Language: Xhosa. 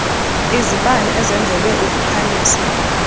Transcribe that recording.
izibane ezenzelwe ukukhanyisa